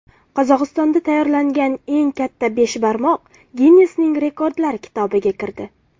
Qozog‘istonda tayyorlangan eng katta beshbarmoq Ginnesning Rekordlar kitobiga kirdi.